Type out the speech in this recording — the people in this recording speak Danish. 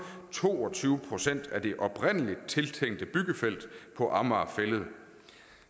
to og tyve procent af det oprindelig tiltænkte byggefelt på amager fælled